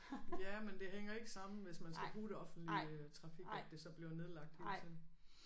Ja men det hænger ikke sammen hvis man skal bruge det offentlige trafik at det så bliver nedlagt hele tiden